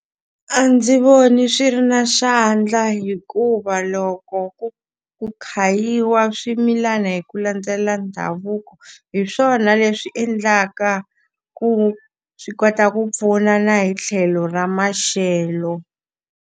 A ndzi voni swi ri na xandla hikuva loko ku ku khayiwa swimilana hi ku landzelela ndhavuko, hi swona leswi endlaka ku swi kota ku pfuna na hi tlhelo ra maxelo.